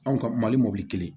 Anw ka mali mɔbili kelen